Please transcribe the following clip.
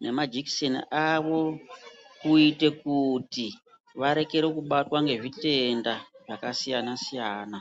nemajikiseni avo, kuite kuti vareke kubatwa ngezvitenda zvakasiyana-siyana .